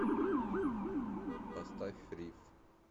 поставь риф